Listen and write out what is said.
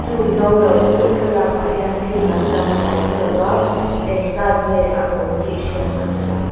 chung no lo chu thlalâkah hian thil dang lang a awm lo va engzât nge a awm tih hriat a ni lo.